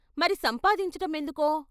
"మరి సంపాదించటమెందుకో?